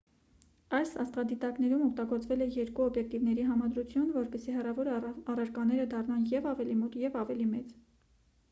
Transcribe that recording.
այս աստղադիտակներում օգտագործվել է երկու օբյեկտիվների համադրություն որպեսզի հեռավոր առարկաները դառնան և ավելի մոտ և ավելի մեծ